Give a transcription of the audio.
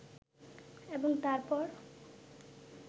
এবং তারপর